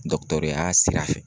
ya sira fɛ